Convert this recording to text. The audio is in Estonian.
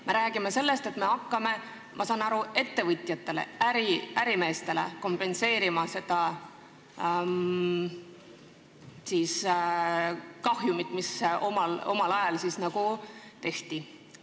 Me räägime sellest, et me hakkame ettevõtjatele, ärimeestele kompenseerima kahjumit, mis omal ajal neile tekitati.